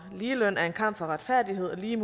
det er